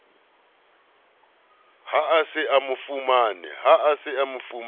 ha a se a fumane